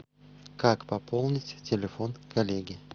как пополнить телефон коллеги